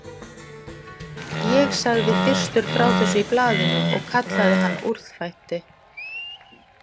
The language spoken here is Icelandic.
Ég sagði fyrstur frá þessu í blaðinu og kallaði hann úrþvætti.